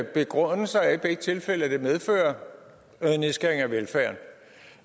begrundelse er i begge tilfælde at det medfører nedskæringer i velfærden